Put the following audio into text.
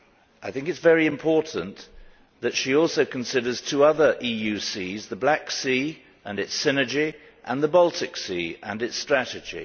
I think it is very important that she also considers two other EU seas the Black Sea, and its synergy, and the Baltic Sea, and its strategy.